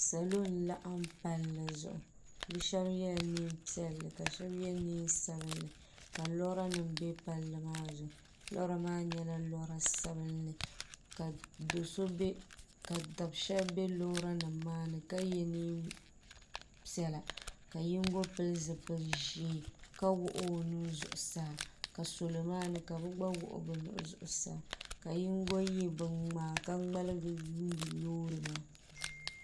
Salo n laɣim palli zuɣu bɛ sheba yela niɛn'piɛlli ka sheba ye niɛn'sabinli ka lora nima be palli maa zuɣu lora maa nyɛla lora sabinli ka dabsheba be loori nima maani ka ye niɛnpiɛlla ka yinga pili zipil'ʒee ka wuɣi o nuu zuɣusaa ka salo maani ka bɛ gba wuɣi bɛ nuhi zuɣusaa ka yinga ye binŋmaa ka ŋmaligi yuuni loori maa.